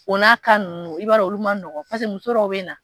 O n'a ninnu i b'a dɔn olu man nɔgɔn muso dɔw bɛ na